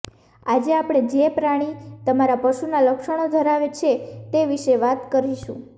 આજે આપણે જે પ્રાણી તમારા પશુના લક્ષણો ધરાવે છે તે વિશે વાત કરીશું